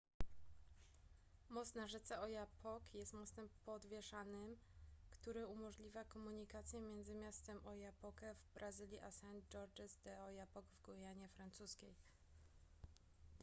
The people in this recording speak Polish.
most na rzece oyapock jest mostem podwieszanym który umożliwia komunikację między miastem oiapoque w brazylii a saint-georges de l'oyapock w gujanie francuskiej